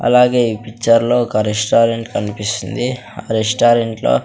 అలాగే ఈ పిక్చర్లో ఒక రెస్టారెంట్ కనిపిస్తుంది ఆ రెస్టారెంట్లో .